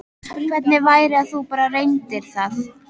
Hvernig væri að þú bara reyndir það?